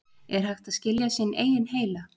er hægt að skilja sinn eigin heila